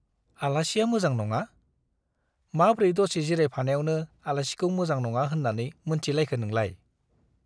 आलासिया मोजां नङा ? माब्रै दसे जिरायफानायावनो आलासिखौ मोजां नङा होन्नानै मोनथिलायखो नोंलाय ?